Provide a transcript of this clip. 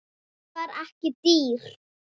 Rófan var ekki dýr.